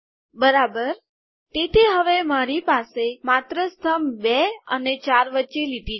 બરાબર તેથી હવે મારી પાસે માત્ર સ્તંભ બે અને ચાર વચ્ચે લીટી છે